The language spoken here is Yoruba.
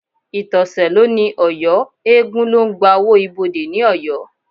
Ìtọ̀sẹ̀ ló ní Ọ̀yọ́, eégún ló ń gba owó ibodè ní Ọ̀yọ́